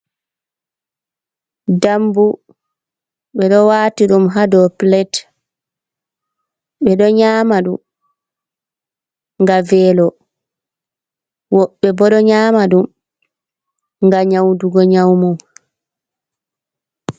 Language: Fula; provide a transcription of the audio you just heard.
Dambu ɓeɗo wati dum hado pilet, ɓeɗo nyamaɗun ga velo wobbebo ɗo nyama ɗum ga nyaudugo nyaumu.